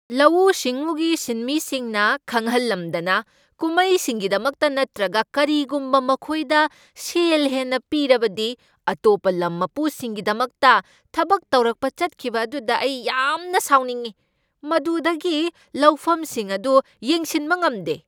ꯂꯧꯎꯁꯤꯡꯎꯒꯤ ꯁꯤꯟꯃꯤꯁꯤꯡꯅ ꯈꯪꯍꯟꯂꯝꯗꯅ ꯀꯨꯝꯍꯩꯁꯤꯡꯒꯤꯗꯃꯛꯇ ꯅꯠꯇ꯭ꯔꯒ ꯀꯔꯤꯒꯨꯝꯕ ꯃꯈꯣꯏꯗ ꯁꯦꯜ ꯍꯦꯟꯅ ꯄꯤꯔꯕꯗꯤ ꯑꯇꯣꯞꯄ ꯂꯝ ꯃꯄꯨꯁꯤꯡꯒꯤꯗꯃꯛꯇ ꯊꯕꯛ ꯇꯧꯔꯛꯄ ꯆꯠꯈꯤꯕ ꯑꯗꯨꯗ ꯑꯩ ꯌꯥꯝꯅ ꯁꯥꯎꯅꯤꯡꯏ ꯫ ꯃꯗꯨꯗꯒꯤ ꯂꯧꯐꯝꯁꯤꯡ ꯑꯗꯨ ꯌꯦꯡꯁꯤꯟꯕ ꯉꯝꯗꯦ꯫